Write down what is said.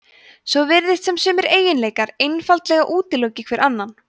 svo virðist sem sumir eiginleikar einfaldlega útiloki hver annan